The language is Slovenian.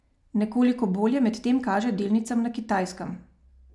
Nekoliko bolje medtem kaže delnicam na Kitajskem.